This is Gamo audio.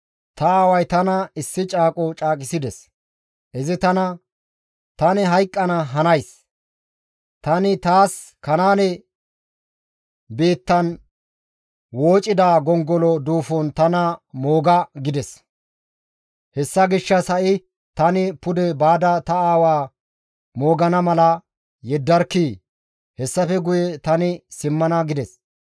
Ta aaway tana issi caaqo caaqisides; izi tana, ‹Tani hayqqana hanays; tani taas Kanaane biittan woocida gongolo duufon tana mooga› gides. Hessa gishshas, ‹Ha7i tani pude baada ta aawa moogana mala yeddarkkii! Hessafe guye tani simmana› » gides.